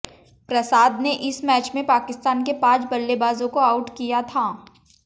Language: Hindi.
प्रसाद ने इस मैच में पाकिस्तान के पांच बल्लेबाजों को आउट किया था